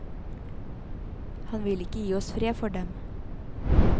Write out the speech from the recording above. Han vil ikke gi oss fred for dem.